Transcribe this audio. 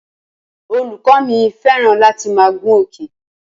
Olùkọ́ mi fẹ́ràn láti máa gun òkè